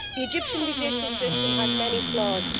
The Egyptian judicial system has many flaws.